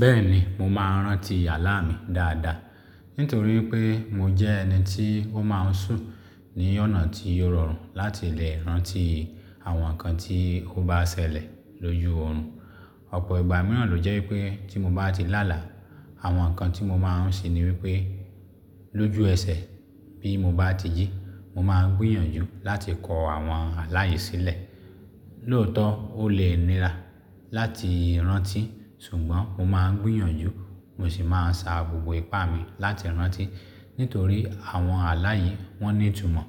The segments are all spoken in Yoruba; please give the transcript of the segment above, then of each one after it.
Bẹ́ẹ̀ni, mo máa ń rántí àlá mi dáadáa. Nítorí pé mo jẹ́ ẹni tí ó máa ń sùn ní ọ̀nà tí ò rọrùn láti lè rántí àwọn nǹkan tí ó bá ṣẹlẹ̀ lójú òrun. Ọ̀pọ̀ ìgbà mìíràn ló jẹ́ wípé tí mo bá ti láàlá, àwọn nǹkan tí mo máa ń ṣe ni wípé lójú ẹsẹ̀ bí mo bá ti jí, mo máa ń gbìyànjú láti kọ àwọn alá yèn sílẹ̀. Lóòótọ́, ó lè nira láti rántí, ṣùgbọ́n mo máa ń gbìyànjú, mo sì máa ń sa gbogbo ipá mi láti rántí. Nítorí àwọn alá yi wọ́n ní ìtumọ̀,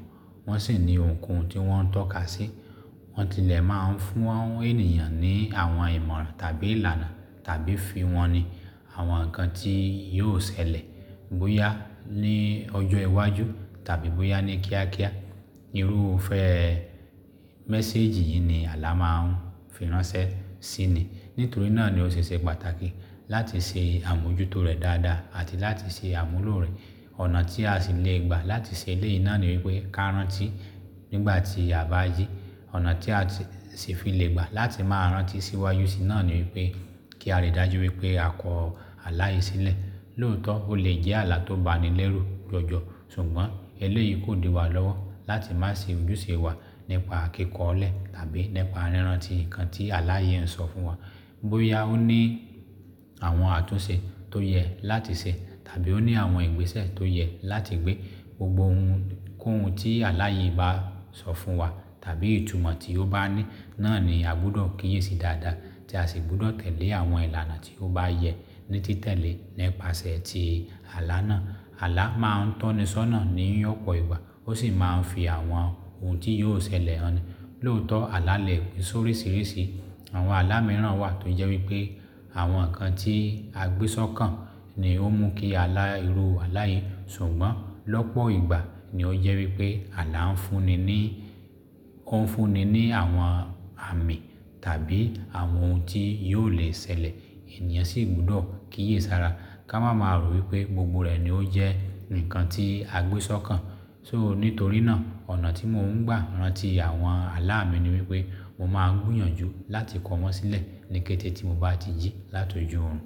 wọ́n sì ní ohun kan tí wọ́n ń tọ́ka sí. Wọ́n tilẹ̀ máa ń fún ènìyàn ní àwọn ìmọ̀ràn tàbí ìlànà tàbí fihan ní àwọn nǹkan tí yóò ṣẹlẹ̀ bóyá ní ọjọ́ iwájú tàbí bóyá ní kíákíá. Irúfẹ́ mẹ́saajì yìí ni àlá máa ń fi ránṣẹ́ sí ni. Nítorí náà ni ó ṣe ṣe pàtàkì láti ṣe àmójútó rẹ̀ dáadáa àti láti ṣe àmúlò rẹ̀. Ọ̀nà tí a sì lè gbà láti ṣe eléyìí náà ni wípé ká rántí nígbà tí a bá yí. Ọ̀nà tí a sì fi lè gbà láti máa rántí síwájusi náà ni wípé kí a rí dájú wípé a kọ ala yi sílẹ̀. Lóòótọ́, ó lè jẹ́ àlá tó bani lẹ́rù jọjọ, ṣùgbọ́n eléyìí kò dì wa lọ́wọ́ láti má ṣe ójúṣe wa nípa kíkọ ọ́ lẹ̀ tàbí nípa ríran ti nǹkan tí aláàyè ń sọ fún wa. Bóyá ó ní àwọn àtúnṣe tó yẹ láti ṣe tàbí ó ní àwọn ìgbésẹ̀ tó yẹ láti gbé gbogbo ohun kóhun tí alá yi bá sọ fún wa tàbí ìtumọ̀ tí ó bá ní náà ni a gbúdọ̀ kíyèsi dáadáa tí a sì gbúdọ̀ tẹ̀lé àwọn ìlànà tí ó bá yẹ ní títẹ̀lé nípasẹ̀ ti àlá náà. Àlá máa ń tọ́ni sọ́nà ní ọ̀pọ̀ ìgbà, ó sì máa ń fi àwọn ohun tí yóò ṣẹlẹ̀ han ni. Lóòótọ́, àlá lè pín sórisirísi. Àwọn àlá mìíràn wà tó jẹ́ wípé àwọn nǹkan tí a gbé sọ́kàn ni ó mú kí a la irú alá yi. Ṣùgbọ́n lọ́pọ̀ ìgbà ni ó jẹ́ wípé àlá ń fúnni ní, ó ń fúnni ní àwọn àmì tàbí àwọn ohun tí yóò le ṣẹlẹ̀. Ẹ̀níyàn sì gbúdọ̀ kíyèsára ká máa ma rò wípé gbogbo rẹ̀ ni ó jẹ́ nǹkan tí a gbé sọ́kàn. So nítorí náà, ọ̀nà tí mò ń gbà rántí àwọn àlá mi ni wípé mo máa ń gbìyànjú láti kọ wọ́n sílẹ̀ ní kété tí mo bá ti jí láti ojú òrun.